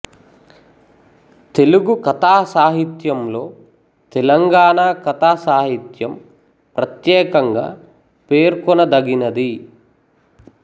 తెలుగు కథా సాహిత్యంలో తెలంగాణ కథా సాహిత్యం ప్రత్యేకంగా పేర్కొనదగినది